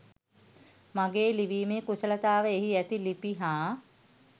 මගේ ලිවිමේ කුසලතාව එහි ඇති ළිපි හා